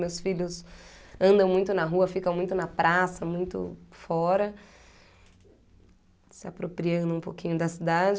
Meus filhos andam muito na rua, ficam muito na praça, muito fora, se apropriando um pouquinho da cidade.